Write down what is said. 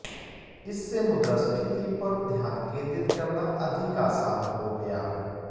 इससे मुद्रास्फीति पर ध्यान केंद्रित करना अधिक आसान हो गया